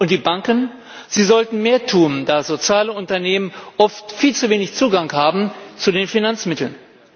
Und die Banken sollten mehr tun, da Sozialunternehmen oft viel zu wenig Zugang haben zu den Finanzmitteln.